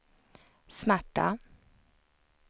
smärta